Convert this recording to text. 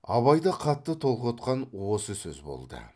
абайды қатты толқытқан осы сөз болды